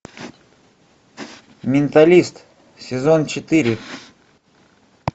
менталист сезон четыре